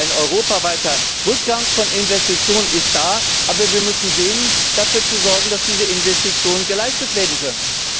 Ein europaweiter Rückgang von Investitionen ist da, aber wir müssen dafür sorgen, dass diese Investitionen geleistet werden können.